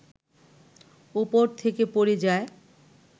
উপর থেকে পড়ে যায়